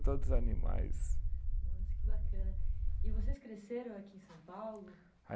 Todos animais. Nossa, que bacana. E vocês cresceram aqui em São Paulo?